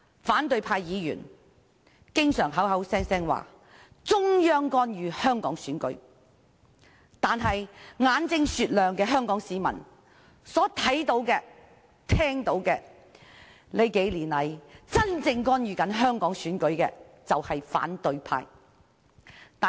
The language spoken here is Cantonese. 反對派議員經常聲稱中央干預香港選舉，但眼睛雪亮的香港市民看到和聽到，數年來真正干預香港選舉的其實是反對派。